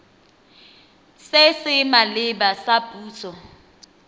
se se maleba sa puso